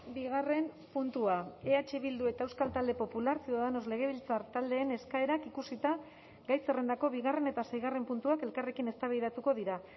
bigarren puntua eh bildu eta euskal talde popular ciudadanos legebiltzar taldeen eskaerak ikusita gai zerrendako bigarren eta seigarren puntuak elkarrekin eztabaidatuko dira